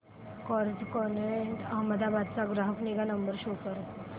Carzonrent Ahmedabad चा ग्राहक निगा नंबर शो कर